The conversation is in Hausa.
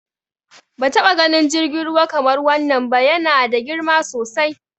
Ban taɓa ganin jirgin ruwa kamar wannan ba, ya na da girma sosai.